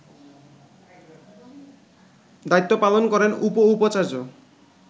দায়িত্ব পালন করেন উপ-উপাচার্য